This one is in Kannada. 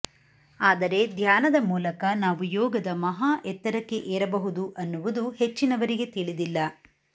ಆದರೆ ಧ್ಯಾನದ ಮೂಲಕ ನಾವು ಯೋಗದ ಮಹಾ ಎತ್ತರಕ್ಕೆ ಏರಬಹುದು ಅನ್ನುವುದು ಹೆಚ್ಚಿನವರಿಗೆ ತಿಳಿದಿಲ್ಲ